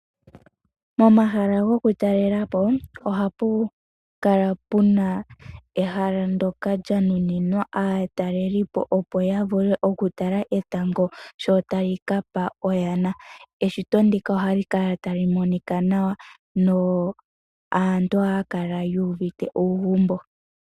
Momahala gokutalelapo ohamu kala mu na ehala ndyoka lya nuninwa aatelelipo opo ya vule okutala etango sho tali kapa oyana okulya. Eshito ndika ohali kala tali monika nawa naantu ohaya kala yuuvite uugumbo.